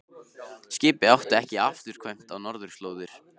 Skipið átti ekki afturkvæmt á norðurslóðir.